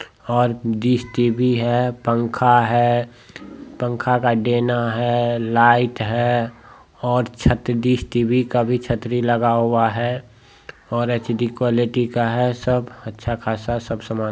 और dish TV है पंखा है पंखा का डेना है लाइट है और छत डिश टीवी का भी छतरी लगा हुआ है और एचडी क्वालिटी का है सब और अच्छा खासा सब समान--